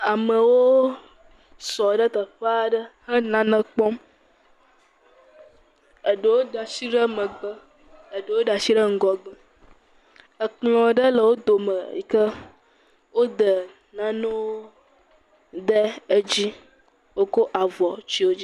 Amewo sɔ ɖe teƒaa ɖe he nane kpɔm. Eɖewo da shi ɖe megbe. Eɖewo da shi ɖe ŋgɔgbe. Ekplɔ̃ ɖe le wo dome yi ke wo dɛ nanewo dɛ edzi. Wokɔ avɔ tsyɔ dzi.